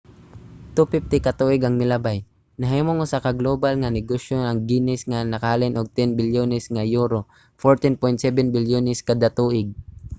250 ka tuig ang milabay nahimong usa ka global nga negosyo ang guinness nga nakahalin og 10 bilyones nga euro us$14.7 bilyones kada tuig